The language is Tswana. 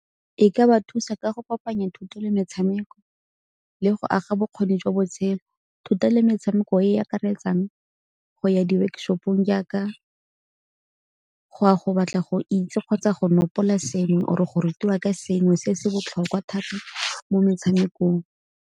E ka ba thusa ka go kopanya thuto le metshameko le go aga bokgoni jwa botshelo. Thuto le metshameko e e akaretsang go ya di workshop-ong jaaka go a go batla go itse kgotsa go ngopola sengwe or-e go rutiwa ka sengwe se se botlhokwa thata mo metshamekong.